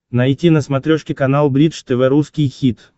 найти на смотрешке канал бридж тв русский хит